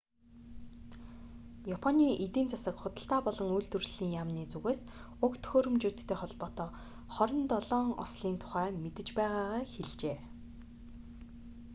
японы эдийн засаг худалдаа болон үйлдвэрлэлийн эзхүя яамны зүгээс уг төхөөрөмжүүдтэй холбоотой 27 ослын тухай мэдэж байгаагаа хэлжээ